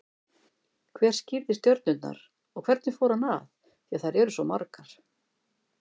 Hver skírði stjörnurnar og hvernig fór hann að, því að þær eru svo margar?